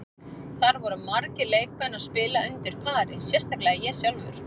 Það voru margir leikmenn að spila undir pari, sérstaklega ég sjálfur.